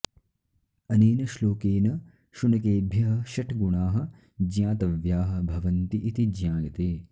अनेन श्लोकेन शुनकेभ्यः षट् गुणाः ज्ञातव्याः भवन्ति इति ज्ञायते